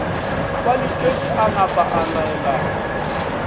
ba letšwetše a napaa laelana